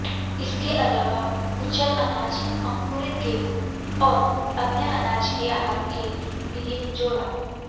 इसके अलावा कुचल अनाज अंकुरित गेहूं और अन्य अनाज के आहार के लिए जोड़ा